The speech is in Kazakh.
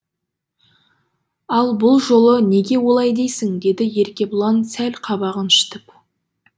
ал бұл жолы неге олай дейсің деді еркебұлан сәл қабағын шытып